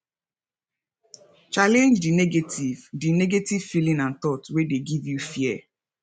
challenege di negative di negative feeling and thought wey dey give you fear